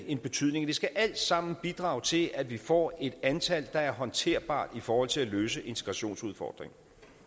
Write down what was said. en betydning det skal alt sammen bidrage til at vi får et antal der er håndterbart i forhold til at løse integrationsudfordringen